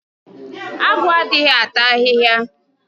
Agu adịghị ata ahịhịa